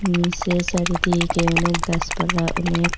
নিসে চারিদিকে অনেক গাসপালা অনেক--